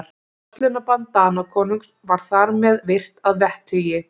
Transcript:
Verslunarbann Danakonungs var þar með virt að vettugi.